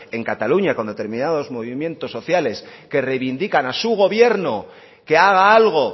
en cataluña con determinados movimientos sociales que reivindican a su gobierno que haga algo